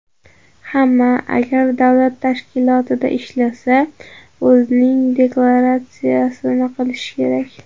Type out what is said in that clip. Hamma, agar davlat tashkilotida ishlasa, o‘zining deklaratsiyasini qilishi kerak.